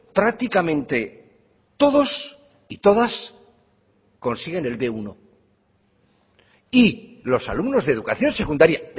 prácticamente todos y todas consiguen el be uno y los alumnos de educación secundaria